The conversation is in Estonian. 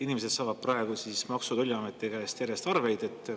Inimesed saavad praegu Maksu‑ ja Tolliameti käest järjest arveid.